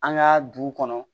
An ka du kɔnɔ